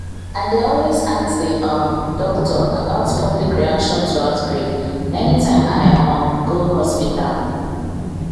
i dey always ask the um doctor about public reaction to outbreak anytime i um go hospital